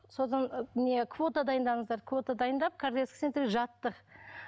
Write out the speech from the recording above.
содан не квота дайындаңыздар квота дайындап кардиологический центрге жатты